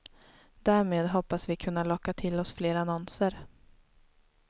Därmed hoppas vi kunna locka till oss fler annonser.